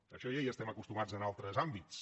a això ja hi estem acostumats en altres àmbits